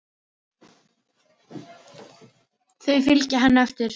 Þau fylgja henni eftir.